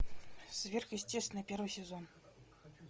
сверхъестественное первый сезон